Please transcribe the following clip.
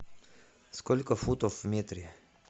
сколько футов в метре